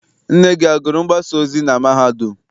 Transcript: Nne gị agụrụ mgbasaozi na mahadum?